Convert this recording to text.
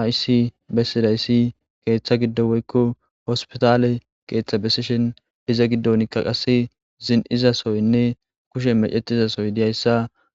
aysi bessidaysi keeththa giddo woykko hospitaale keeththa besishen iza giddonikka qase zin7izasoynne kushe mecetizasoy diyayssa